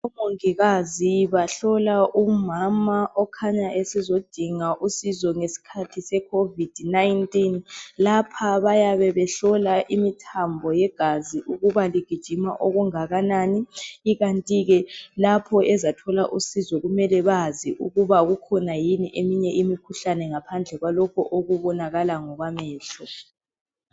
Omongikazi bahlola umama okhanya esezodinga usizo ngesikhathi se COVID 19. Lapha bayabe behlola imithambo yegazi ukuba igijima okungakanani, ikantike lapho ezathola usizo kumele bazi ukuba kukhona yini eminye imikhuhlane ngaphandle kwalokho okubonakala ngokwamehlo.